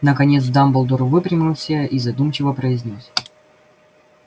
наконец дамблдор выпрямился и задумчиво произнёс